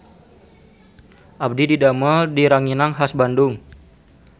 Abdi didamel di Ranginang Khas Bandung